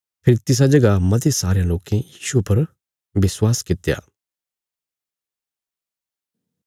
फेरी तिसा जगह मते सारयां लोके यीशुये पर विश्वास कित्या